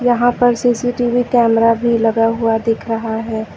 यहां पर CCTV camera भी लगा हुआ दिख रहा है।